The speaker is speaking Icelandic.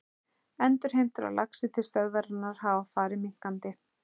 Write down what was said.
Endurheimtur á laxi til stöðvarinnar hafa farið minnkandi.